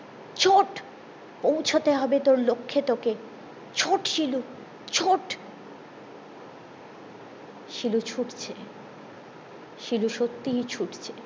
ছোট পৌঁছাতে হবে তোর লক্ষে তোকে ছোট শিলু ছোট শিলু ছুটছে শিলু সত্যিই ছুটছে